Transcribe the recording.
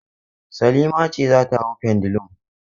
Salima ce za ta hau pendulum.